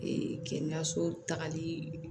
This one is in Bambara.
kɛnɛyaso tagali